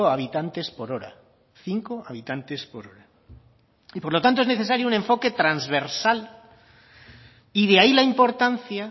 habitantes por hora cinco habitantes por hora y por lo tanto es necesario un enfoque transversal y de ahí la importancia